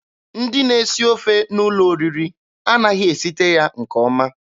Ndị na-esi ofe n'ụlọ oriri anaghị esite ya nke ọma.